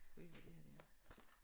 Ved du hvad det her det er?